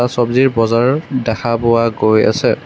চবজিৰ বজাৰ দেখা পোৱা গৈ আছে।